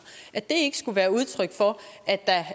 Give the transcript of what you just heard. at det ikke skulle være udtryk for